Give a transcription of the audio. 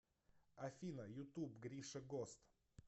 афина ютуб гриша гост